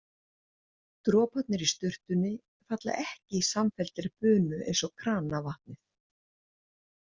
Droparnir í sturtunni falla ekki í samfelldri bunu eins og kranavatnið.